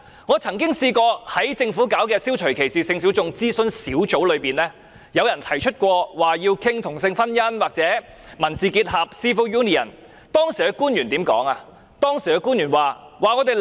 我曾經參加政府設立的消除歧視性小眾諮詢小組，當提出要討論同性婚姻或民事結合時，官員怎樣回答？